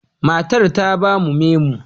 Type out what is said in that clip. Matar ta ba mu menu.